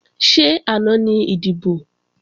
Ṣé àná ni ìdìbò?